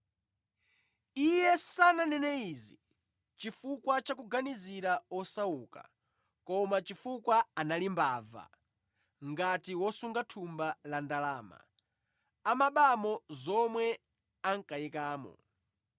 Iye sananene izi chifukwa cha kuganizira osauka koma chifukwa anali mbava; ngati wosunga thumba la ndalama, amabamo zomwe ankayikamo.